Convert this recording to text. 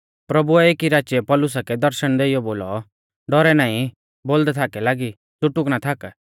प्रभुऐ एकी राचीऐ पौलुसा कै दर्शण देइयौ बोलौ डौरै नाईं बोलदै थाक लागी च़ुटुक ना थाक